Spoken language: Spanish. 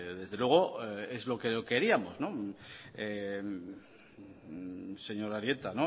desde luego es lo que queríamos señor arieta